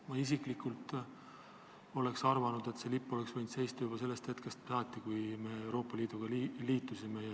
Ma isiklikult küll arvan, et euroliidu lipp oleks võinud Valges saalis seista juba sellest hetkest saati, kui me liitu astusime.